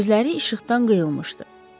Gözləri işıqdan qıyılmışdı.